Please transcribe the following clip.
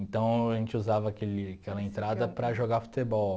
Então a gente usava aquele aquela entrada para jogar futebol.